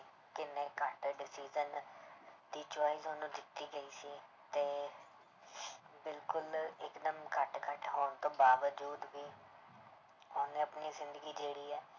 ਕਿੰਨੇ ਘੱਟ decision ਦੀ choice ਉਹਨੂੰ ਦਿੱਤੀ ਗਈ ਸੀ ਤੇ ਬਿਲਕੁਲ ਇੱਕਦਮ ਘੱਟ ਘੱਟ ਹੋਣ ਤੋਂ ਬਾਵਜੂਦ ਵੀ ਉਹਨੇ ਆਪਣੀ ਜ਼ਿੰਦਗੀ ਜਿਹੜੀ ਹੈ